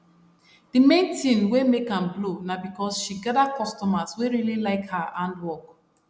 d main tin wey make am blow na because she gather customers wey really like her hand work